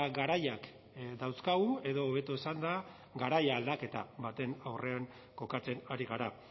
garaiak dauzkagu edo hobeto esanda garai aldaketa baten aurrean kokatzen ari gara